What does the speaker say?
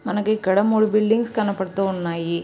మనకి ఇక్కడ మూడు బిల్డింగ్స్ కనబడుతున్నాయి.